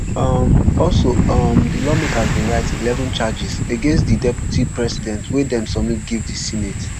um also um di lawmakers bin write eleven charges against di deputy president wey dem submit give di senate